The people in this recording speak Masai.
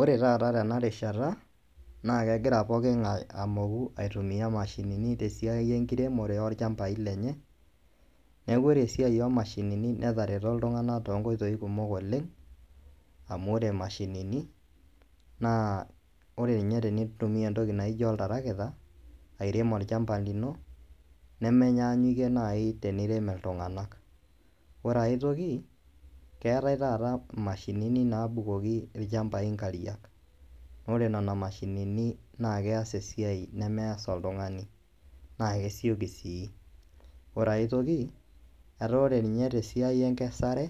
Ore taata tenarishata naa kegira pooking'ai amoku mashinini tesiai enkiremore oolchambai lenye. Neaku ore esiai oomashinini netareto iltung'ana tonkoitoi kumok oleng' amu ore imashinini naa ore ninye tinintumia entoki naijo oltarakita airem olchamba lino nemenyaanyukie nai teneirem iltung'anak. Ore ai toki, keetai taata imashinini naabukoki ilchambai inkariak. Ore nena mashinini naakeas esiai nemeas oltung'ani, naakesioki sii. Ore ai toki, etaa ore ninye tesiai enkesare